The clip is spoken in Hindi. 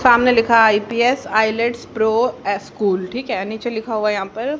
सामने लिखा आई_पी_एस आईलेड्स प्रो एस_कूल ठीक है नीचे लिखा हुआ है यहां पर--